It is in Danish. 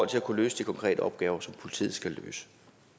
til at kunne løse de konkrete opgaver som politiet skal løse